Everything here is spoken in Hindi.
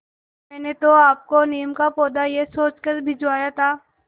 मैंने तो आपको नीम का पौधा यह सोचकर भिजवाया था